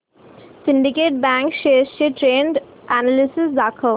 Syndicate bank shares चे trend analysis दाखव